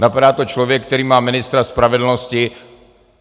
Napadá to člověk, který má ministra spravedlnosti.